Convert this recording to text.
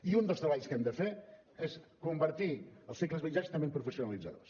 i un dels treballs que hem de fer és convertir els cicles mitjans també en professionalitzadors